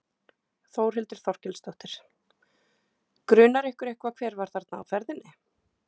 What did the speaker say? Þórhildur Þorkelsdóttir: Grunar ykkur eitthvað hver var þarna á ferðinni?